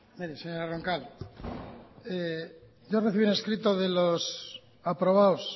vamos a ver mire señora roncal yo recibí un escrito de los aprobados